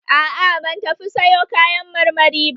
A'a ban tafi sayo kayan marmari ba